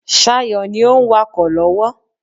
Sayo ni o ń wakọ̀ lọ́wọ́.